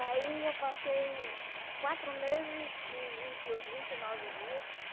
Aí eu passei quatro meses e e vinte e oi vinte nove dia